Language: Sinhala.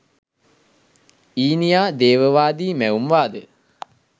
ඊනියා දේවවාදී මැවුම් වාදය